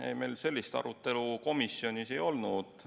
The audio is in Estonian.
Ei, meil sellist arutelu komisjonis ei olnud.